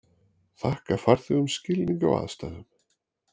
Þakka farþegum skilning á aðstæðum